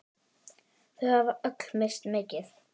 Þau hafa öll misst mikið.